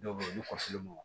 Dɔw bɛ yen olu kɔfe ma